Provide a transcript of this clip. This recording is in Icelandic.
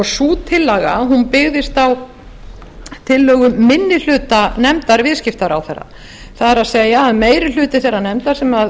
sú tillaga byggðist á tillögu minni hluta nefndar viðskiptaráðherra það er að meiri hluti þeirrar nefndar sem